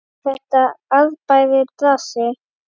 Er þetta arðbær bransi?